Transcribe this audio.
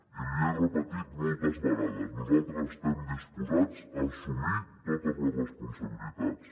i l’hi he repetit moltes vegades nosaltres estem disposats a assumir totes les responsabilitats